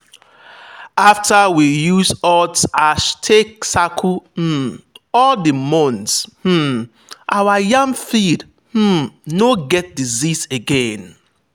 after we use hot ash take circle um all the mounds um our yam field um no get disease again.